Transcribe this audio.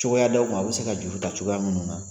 Cogoya d'aw ma aw bɛ se ka juru ta cogoya minnu na.